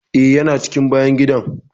Eh, ya na cikin bayan gidan.